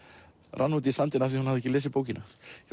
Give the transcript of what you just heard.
rann út í sandinn af því hún hafði ekki lesið bókina ég